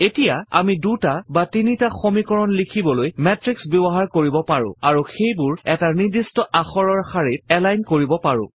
এতিয়া আমি দুটা বা তিনিটা সমীকৰণ লিখিবলৈ মেত্ৰিক্স ব্যৱহাৰ কৰিব পাৰো আৰু সেইবোৰ এটা নিৰ্দিষ্ট আখৰৰ শাৰীত এলাইন কৰিব পাৰো